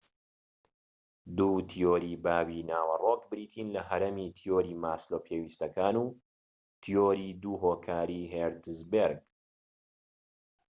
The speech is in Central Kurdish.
دوو تیۆری باوی ناوەڕۆک بریتین لە هەڕەمی تیۆری ماسلۆ پێویستیەکان و تیۆری دوو هۆکاری هێرتزبێرگ